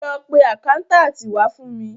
Lọ pe àkáńtáàtì wá fún mi.